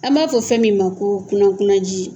An b'a fɔ fɛn min ma ko kulokulo ji.